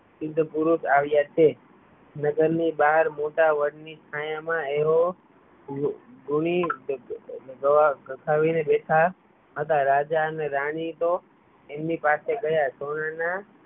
સિદ્ધ પુરુષ આવ્યા છે નગરની બહાર મોટા વડની છાયા માં તેઓ થાપવીને બેઠા હતા રાજા અને રાની તો એમની પાસે ગયા